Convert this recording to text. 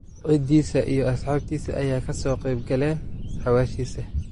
Cidisa iyo asxabtisa aya kasoqebkaleen xawashisa.